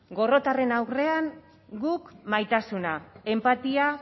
gorrotoaren aurrean guk maitasuna enpatia